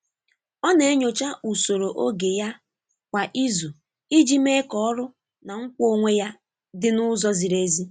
Ọ na-enyocha ụsoro oge ya kwa izu iji mee ka ọrụ na nkwa onwe ya dị n’ụzọ ziri ezi.